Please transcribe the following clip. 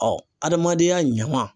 adamadenya ɲama